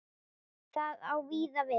Það á víða við.